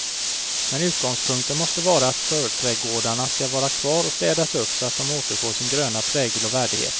Men utgångspunkten måste vara att förträdgårdarna skall vara kvar och städas upp så att de återfår sin gröna prägel och värdighet.